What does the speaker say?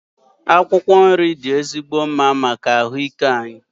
Akwụkwọ nri dị ezigbo mma maka ahụ ike anyị.